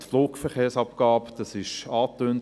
Die Flugverkehrsabgabe wurde angetönt.